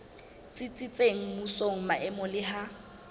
tsitsitseng mmusong maemong le ha